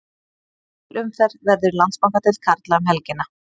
Heil umferð verður í Landsbankadeild karla um helgina.